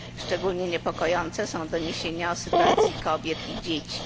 Szczególnie niepokojące są doniesienia o sytuacji kobiet i dzieci.